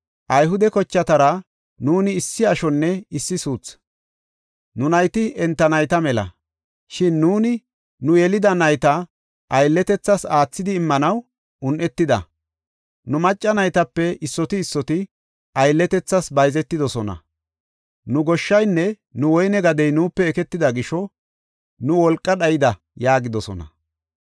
Ayhude kochatara nuuni issi ashonne issi suuthi; nu nayti enta nayta mela. Shin nuuni nu yelida nayta aylletethas aathidi immanaw un7etida; nu macca naytape issoti issoti aylletethas bayzetidosona. Nu goshshanne nu woyne gadiya nuupe eketida gisho nu wolqa dhayida” yaagidosona.